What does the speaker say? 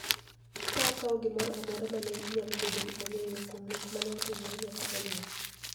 ka okawo gimoro amora ma ne nyalo bedo ni ong�eyo kuom nek ma ne otimre nyaka e liel.